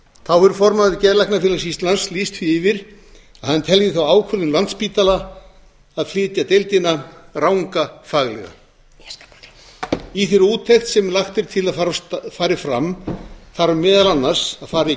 þá hefur formaður geðlæknafélags íslands lýst því yfir að hann telji þá ákvörðun landspítalans að flytja deildina ranga faglega í þeirri úttekt sem lagt er til að fari fram þarf meðal annars að fara